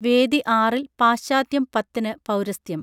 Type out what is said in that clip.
വേദി ആറിൽ പാശ്ചാത്യം പത്തിന് പൗരസ്ത്യം